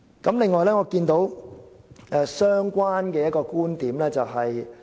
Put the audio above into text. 此外，我注意到一個相關觀點。